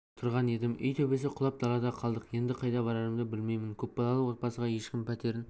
отырған едім үй төбесі құлап далада қалдық енді қайда барарымды білмеймін көпбалалы отбасыға ешкім пәтерін